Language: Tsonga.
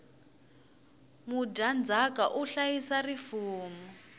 mudyandzaka u hlayisa rifumo